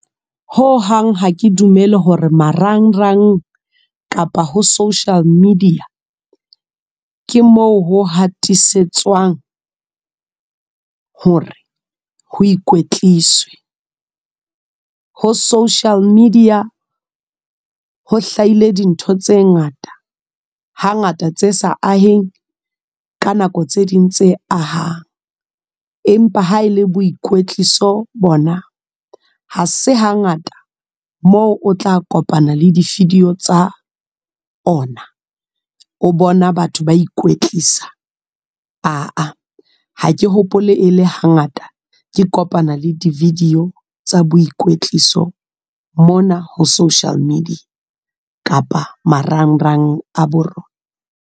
Ho hang ha ke dumele hore marangrang, kapa ho social media. Ke moo ho hatisetswang, hore ho ikwetliswe. Ho social media, ho hlahile dintho tse ngata, ha ngata tse sa aheng ka nako tse ding tse ahang. Empa ha ele boikwetliso bona, ha se hangata moo o tla kopana le di-video tsa ona, o bona batho ba ikwetlisa aa. Ha ke hopole e le hangata, ke kopana le di-video tsa boikwetliso mona ho social media. Kapa marangrang a bo rona.